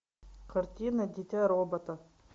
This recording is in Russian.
картина дитя робота